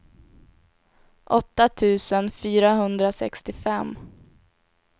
åtta tusen fyrahundrasextiofem